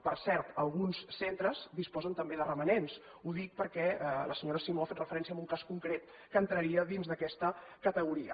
per cert alguns centres disposen també de romanents ho dic perquè la senyora simó ha fet referència a un cas concret que entraria dins d’aquesta categoria